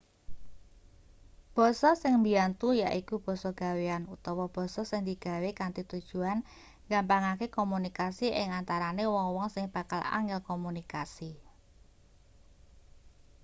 basa sing mbiyantu yaiku basa gawean utawa basa sing digawe kanthi tujuan nggampangake komunikasi ing antarane wong-wong sing bakal angel komunikasi